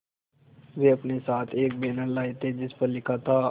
वे अपने साथ एक बैनर लाए थे जिस पर लिखा था